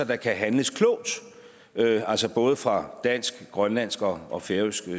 der kan handles klogt altså både fra dansk grønlandsk og og færøsk